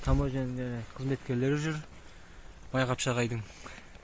таможния қызметкерлері жүр майғапшағайдың